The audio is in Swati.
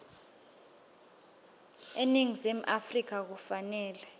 eningizimu afrika kufanele